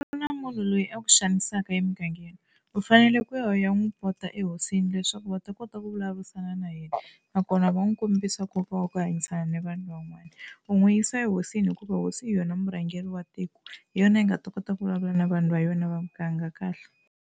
Ku na munhu loyi a ku xanisaka emugangeni u fanele ku ya n'wi pota ehosini leswaku va ta kota ku vulavurisana na yena nakona va n'wi kombisa nkoka wa ku hanyisana na vanhu van'wana. U n'wi yisa ehosini hikuva hosi hi yona murhangeri wa tiko hi yona yi nga ta kota ku vulavula na vanhu va yona va muganga kahle.